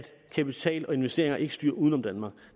kapital og investeringer ikke styrer uden om danmark